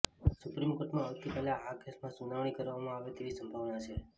સુપ્રીમકોર્ટમાં આવતીકાલે આ કેસમાં સુનાવણી કરવામાં આવે તેવી સંભાવના છે